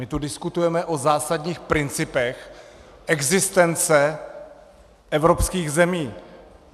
My tu diskutujeme o zásadních principech existence evropských zemí.